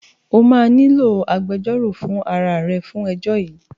Ó máa nílò agbejọ́rò fún ara à rẹ fún ẹjọ́ yìí